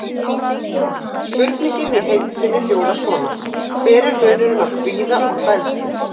Spurningin í heild sinni hljóðaði svona: Hver er munurinn á kvíða og hræðslu?